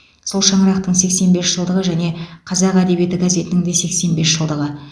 сол шаңырақтың сексен бес жылдығы және қазақ әдебиеті газетінің де сексен бес жылдығы